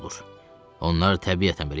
Onlar təbiətən belə yaranıblar.